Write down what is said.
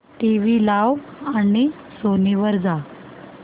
TV लाव आणि Sony वर जा